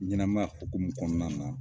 Ɲɛnɛma ya hukumu kɔnɔna na